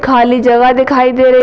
खाली जगह दिखाई दे रही --